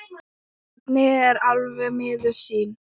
Svenni er alveg miður sín.